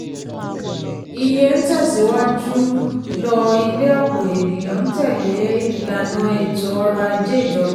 iye ń tẹ̀síwájú lọ ilẹ̀ ọ̀pọ̀ ènìyàn ń tẹ̀lé ìlànà ètò ọrọ̀-ajé ìjọba.